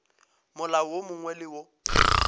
molao wo mongwe le wo